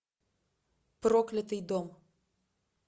проклятый дом